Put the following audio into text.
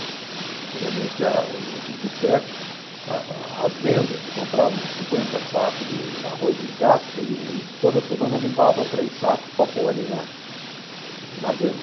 Antigamente a o os botecos, a a as vendas, compravam cinquenta sacos de arroz em casca e toda semana limpava três sacos para pôr ali na na venda.